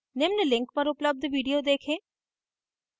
निम्न link पर उपलब्ध video देखें